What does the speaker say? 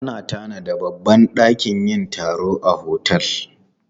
Ana tanada babbar dakin yin taro a otel.